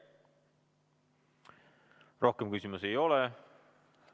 Rohkem küsimusi ei ole.